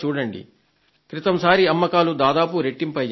క్రితం సారి అమ్మకాలు దాదాపు రెట్టింపయ్యాయి